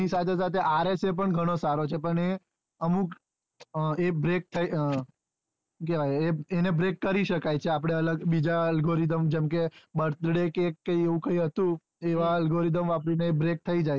એની સાથે સાથે rsa પણ ઘણો સારો છે પણ એ અમુક એ ને break કરી શકાય છે આપડે અલગ બીજા algoridham જેમ કે birthday cake કે આવું કઈ હતું એવા algoridham વાપરી ને એ brake થઇ જાય છે